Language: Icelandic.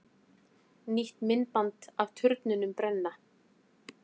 Nýtt myndband af turnunum brenna